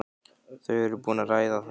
Þau eru búin að ræða það.